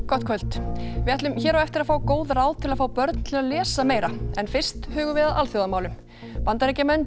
gott kvöld við ætlum hér á eftir að fá góð ráð til að fá börn til að lesa meira en fyrst hugum við að alþjóðamálunum Bandaríkjamenn